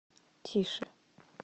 тише